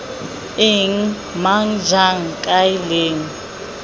eng mang jang kae leng